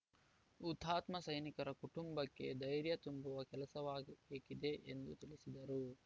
ಹುತಾತ್ಮ ಸೈನಿಕರ ಕುಟುಂಬಕ್ಕೆ ಧೈರ್ಯ ತುಂಬುವ ಕೆಲಸವಾಗಬೇಕಿದೆ ಎಂದು ತಿಳಿಸಿದರು